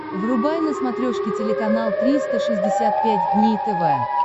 врубай на смотрешке телеканал триста шестьдесят пять дней тв